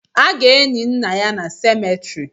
A ga-eni nna ya na semetiri